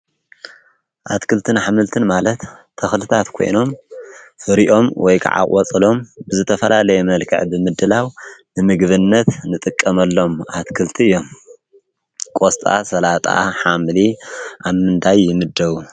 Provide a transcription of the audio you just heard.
ኣትክልትን ኣሕምልትን ማለት ተኽልታት ኮይኖም ፍሪኦም ወይከዓ ቆፅሎም ብዝተፈላለየ መልክዕ ብምድላው ንምግብነት ንጥቀመሎም አትክልቲ እዮም። ቆስጣ፣ ሰላጣ፣ ሓምሊ ኣብ ምንታይ ይምደቡ?